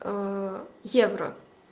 евро